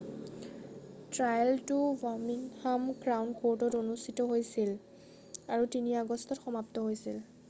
ট্ৰায়েলটো Birmingham Crown কৰ্টত অনুষ্ঠিত হৈছিল আৰু ৩ আগষ্টত সমাপ্ত হৈছিল৷